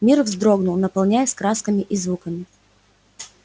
мир вздрогнул наполняясь красками и звуками